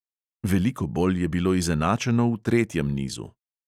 Veliko bolj je bilo izenačeno v tretjem nizu.